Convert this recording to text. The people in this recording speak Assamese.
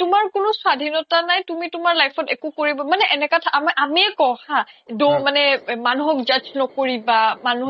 তুমাৰ কোনো স্বাধীনতা নাই তুমি তোমাৰ life একো কৰিব মানে এনেকা আ আমিয়ে কও হা মানুহক judge ন্কৰিবা